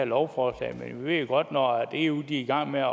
lovforslag men vi ved jo godt at når eu er i gang med